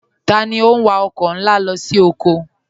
Tani o n wà ọkọ nlá lọ sí ọkọ?